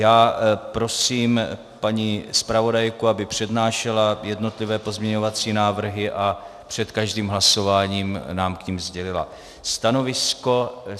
Já prosím paní zpravodajku, aby přednášela jednotlivé pozměňovací návrhy a před každým hlasováním nám k nim sdělila stanovisko.